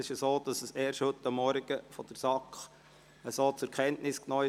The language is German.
Die SAK hat sie erst heute Morgen in dieser Form zur Kenntnis genommen.